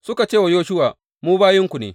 Suka ce wa Yoshuwa, Mu bayinku ne.